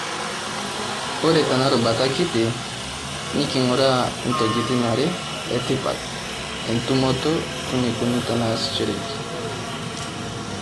Ore tena rubata kiti, neking'uraa ntokiting'are etipat, entumoto, weneikoni teneasishoreki.